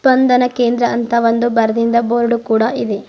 ಸ್ಪಂದನ ಕೇಂದ್ರ ಅಂತ ಒಂದು ಬರೆದಿನ್ದು ಬೋರ್ಡ್ ಕೂಡ ಇದೆ.